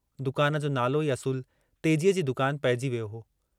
दुकान जो नालो ई असुल तेजीअ जी दुकान पइजी वियो हो।